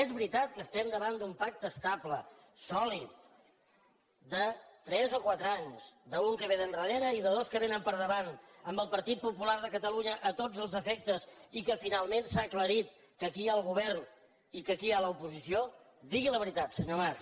és veritat que estem davant d’un pacte estable sòlid de tres o quatre anys d’un que ve d’endarrere i de dos que vénen per davant amb el partit popular de catalunya a tots els efectes i que finalment s’ha aclarit que aquí hi ha el govern i que aquí hi ha l’oposició digui la veritat senyor mas